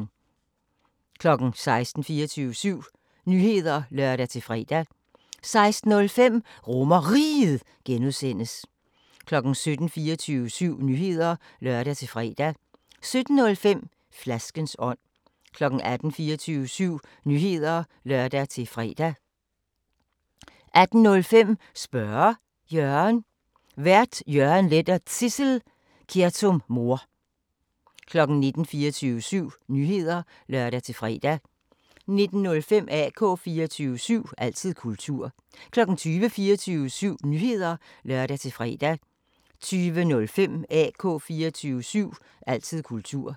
16:00: 24syv Nyheder (lør-fre) 16:05: RomerRiget (G) 17:00: 24syv Nyheder (lør-fre) 17:05: Flaskens ånd 18:00: 24syv Nyheder (lør-fre) 18:05: Spørge Jørgen Vært: Jørgen Leth og Zissel Kjertum-Mohr 19:00: 24syv Nyheder (lør-fre) 19:05: AK 24syv – altid kultur 20:00: 24syv Nyheder (lør-fre) 20:05: AK 24syv – altid kultur